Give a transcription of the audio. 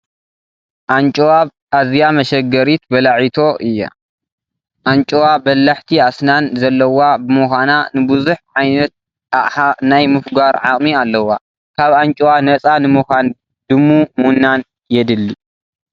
ኣንጩዋ ኣዝያ መሸገሪት በላዒቶ እዩ፡፡ ኣንጭዋ በላሕቲ ኣስናን ዘለዋ ብምዃና ንብዙሕ ዓይነት ኣቕላ ናይ ምፍጛር ዓቕሚ ኣለዋ፡፡ ካብ ኣንጭዋ ነፃ ንምዃን ድሙ ምውናን የድሊ፡፡